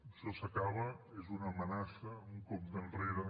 això s’acaba és una amenaça un compte enrere